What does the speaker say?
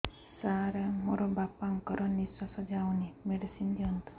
ସାର ମୋର ବାପା ଙ୍କର ନିଃଶ୍ବାସ ଯାଉନି ମେଡିସିନ ଦିଅନ୍ତୁ